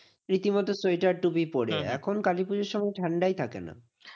রীতিমতো সোয়েটার টুপি পরে এখন কালীপুজোর সময় ঠান্ডাই থাকে না।